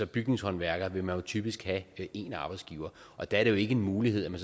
bygningshåndværker vil man typisk have én arbejdsgiver og der er det jo ikke en mulighed at man